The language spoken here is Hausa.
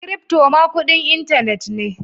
Crypto ma kudin intanet ne.